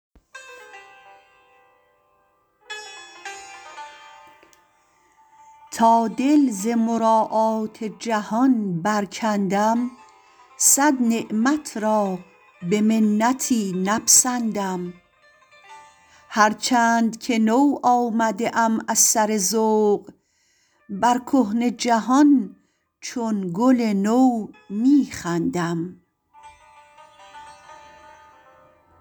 تا دل ز مراعات جهان برکندم صد نعمت را به منتی نپسندم هر چند که نو آمده ام از سر ذوق بر کهنه جهان چون گل نو می خندم